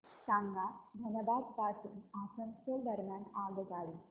सांगा धनबाद पासून आसनसोल दरम्यान आगगाडी